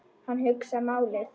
Hann hugsar málið.